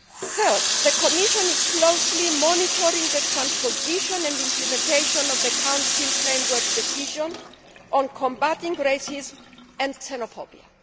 Thirdly, the Commission is closely monitoring the transposition and implementation of the Council Framework Decision on combating racism and xenophobia.